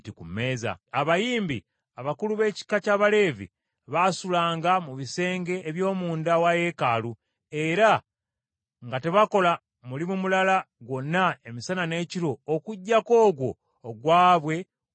Abayimbi, abakulu b’ekika ky’Abaleevi baasulanga mu bisenge eby’omunda wa Yeekaalu, era nga tebakola mulimu mulala gwonna emisana n’ekiro okuggyako ogwo ogwabwe omutongole.